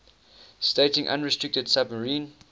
stating unrestricted submarine